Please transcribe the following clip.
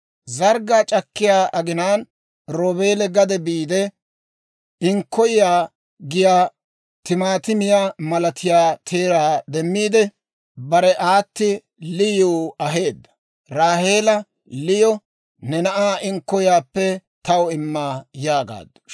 Zarggaa c'akkiyaa aginaan Roobeeli gade biide, inkkoyiyaa giyaa timaatimiyaa malatiyaa teeraa demmiide, bare aati Liyiw aheedda. Raaheela Liyo, «Ne na'aa inkkoyiyaappe taw imma» yaagaaddu.